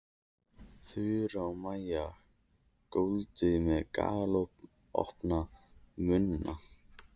Þura og Maja góndu með galopna munna.